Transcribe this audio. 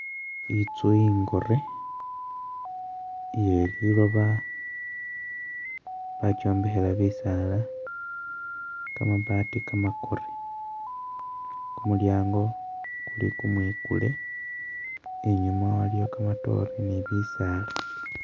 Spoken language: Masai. Itsu ingore iye liloba bakyombekhela bisaala, kamabaati kamakore, kumulyango kuli kumwikule inyuma waliyo kamatore ni bisaala